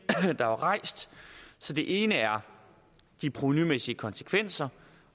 der er rejst det ene er de provenumæssige konsekvenser